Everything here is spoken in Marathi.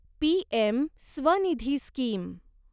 PM Svanidhi scheme